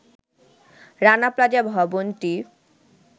রানা প্লাজা ভবনটি